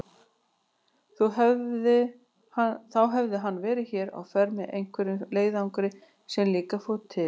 Þá hefði hann verið hér á ferð með einhverjum leiðangri sem líka fór til